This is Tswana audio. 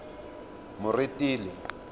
moretele